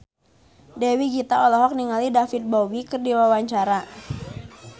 Dewi Gita olohok ningali David Bowie keur diwawancara